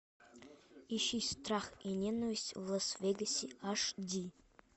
ищи страх и ненависть в лас вегасе аш ди